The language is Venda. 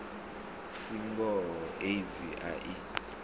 si ngoho aids a i